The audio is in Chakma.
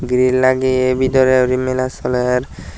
girey lageye bidirey guri mela soler.